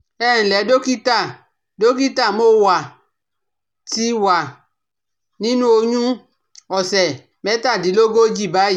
Ẹ ǹlẹ́ dọ́kítà, dọ́kítà, mo wà ti wà nínú oyún òsẹ̀ mẹ́tàdínlógójì báyìí